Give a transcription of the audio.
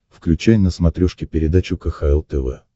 включай на смотрешке передачу кхл тв